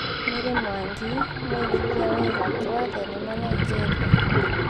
Mary Mwangi, Mwĩgithia wĩ gatũ wa thenema Nigeria